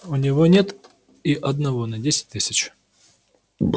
у него нет и одного на десять тысяч